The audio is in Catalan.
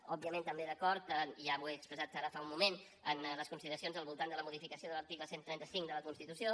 òbviament també d’acord i ja ho he expressat ara fa un moment amb les consideracions al voltant de la modificació de l’article cent i trenta cinc de la constitució